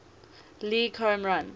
league home run